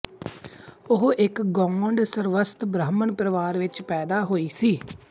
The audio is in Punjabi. ਉਹ ਇੱਕ ਗੌਡ ਸਰਸਵਤ ਬ੍ਰਾਹਮਣ ਪਰਿਵਾਰ ਵਿੱਚ ਪੈਦਾ ਹੋਈ ਸੀ